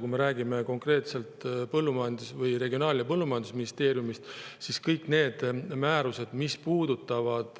Kui me räägime konkreetselt Regionaal‑ ja Põllumajandusministeeriumist, siis kõik need määrused, mis puudutavad